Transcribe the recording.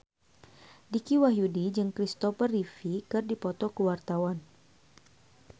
Dicky Wahyudi jeung Kristopher Reeve keur dipoto ku wartawan